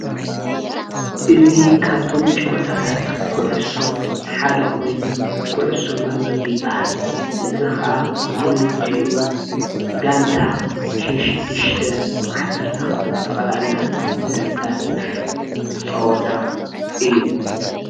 እዚ ካብቶም ጨዋታት ኩዕሶ ሓደ ኮይኑ ኩዕሶ መርበብ ይበሃል። እዚ ከዓ ብክልቲኡ ጋንታ ሽ ሽዱሽተ ዓሰርተ ክልተ ብጠቅላላ ዘሳትፍ ፀዋታ እዩ።